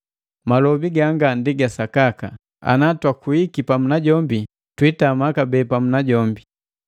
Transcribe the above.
Upwagi gongo ndi wasakaka: “Ana twakuiki pamu najombi, twitama kabee pamu najombi.